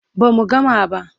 Ba mu gama ba.